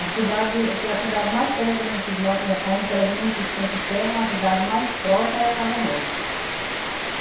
A cidade, que é a cidade mais perto que a gente mora, a gente era do município Centro Serra, mas a cidade mais próxima era Casa Nova.